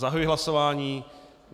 Zahajuji hlasování.